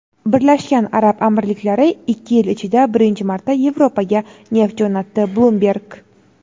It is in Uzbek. Birlashgan Arab Amirliklari ikki yil ichida birinchi marta Yevropaga neft jo‘natdi – "Bloomberg".